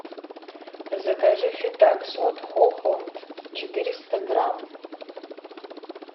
закажи фетаксу от хохланд четыреста грамм